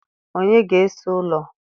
Onye ga-ese ụlọ